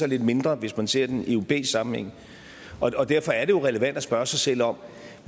lidt mindre hvis man ser den i europæisk sammenhæng og derfor er det jo relevant at spørge sig selv om